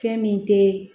Fɛn min te